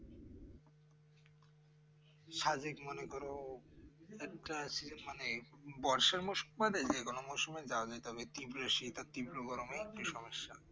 সাদেক মনে করো একটা মানে বর্ষা মানে গরম মর্শম যাবে তবে তীব্র শীত আর তীব্র গরম একটু সমস্যা